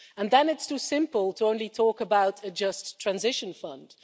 And then it's too simple to only talk about a just transition fund.